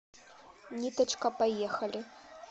ниточка поехали